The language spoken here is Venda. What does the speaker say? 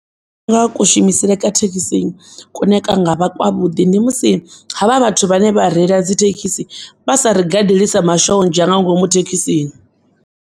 Nga kushumisele kwa thekisi kune kwa ngavha kwa vhuḓi, ndi musi havha vhathu vhane vha reila dzithekisi vhasa rigadeli sa mashonzha nga ngomu thekisini.